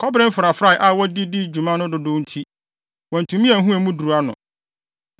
Kɔbere mfrafrae a wɔde dii dwuma no dodow nti, wɔantumi anhu emu duru ano.